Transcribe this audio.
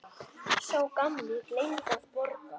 Sá gamli gleymdi að borga.